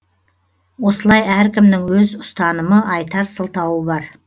осылай әркімнің өз ұстанымы айтар сылтауы бар